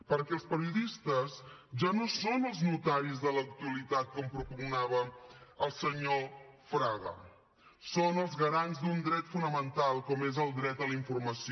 perquè els periodistes ja no són els notaris de l’actualitat com propugnava el senyor fraga són els garants d’un dret fonamental com és el dret a la informació